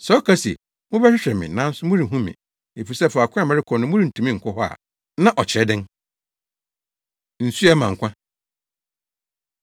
Sɛ ɔka se, ‘Mobɛhwehwɛ me, nanso morenhu me, efisɛ faako a merekɔ no morentumi nkɔ hɔ’ a, na ɔkyerɛ dɛn?” Nsu A Ɛma Nkwa